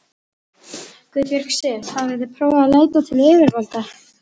Guðbjörg Sif: Hafið þið prófað að leita til yfirvalda?